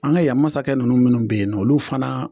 An ga yan masakɛ nunnu minnu be yen nɔ olu fana